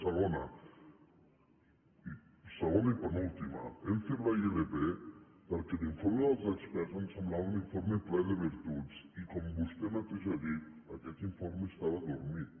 segona segona i penúltima hem fet la ilp perquè l’informe dels experts ens semblava un informe ple de virtuts i com vostè mateix ha dit aquest informe estava adormit